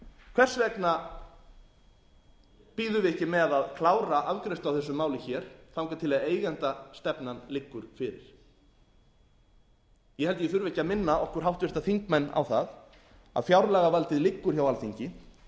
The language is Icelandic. hvers vegna bíðum við ekki með að klára afgreiðslu á þessu máli hér þangað til eigendastefnan liggur fyrir ég held að ég þurfi ekki að minna okkur háttvirta þingmenn á það að fjárlagavaldið liggur hjá alþingi